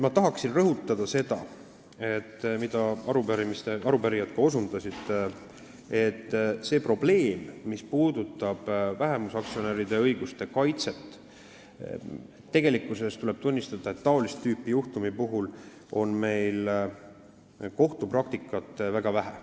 Ma tahan rõhutada seda, millele arupärijad ka osutasid, et mis puudutab vähemusaktsionäride õiguste kaitset, siis tuleb tunnistada, et seda tüüpi juhtumite kohtupraktikat on meil väga vähe.